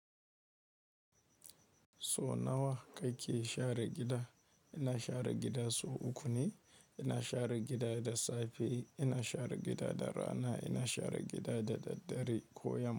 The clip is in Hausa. So nawa kake share gida? Ina share gida sau uku ne, ina share gida da safe, ina share gida da rana, ina share gida da daddare ko yamma.